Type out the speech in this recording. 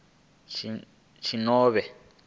tshinovhea